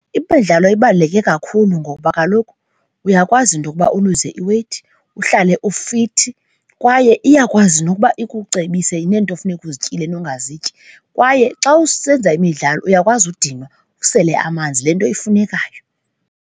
Imidlalo ibaluleke kakhulu ngokuba kaloku uyakwazi nokuba uluze iweyithi, uhlale ufithi kwaye iyakwazi nokuba ukucebise neento funeka uzityile nongazityi. Kwaye xa usenza imidlalo uyakwazi udinwa, usele amanzi, le nto ifunekayo.